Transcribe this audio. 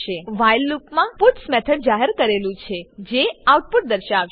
while લૂપમાં puts method જાહેર કરેલું છે જે આઉટપુટ દર્શાવશે